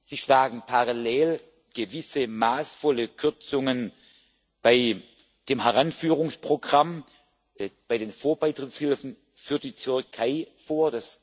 Sie schlagen parallel gewisse maßvolle Kürzungen bei dem Heranführungsprogramm, bei den Vorbeitrittshilfen für die Türkei vor.